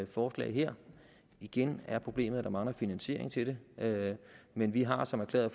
forslag her igen er problemet at der mangler finansiering til det men vi har som erklæret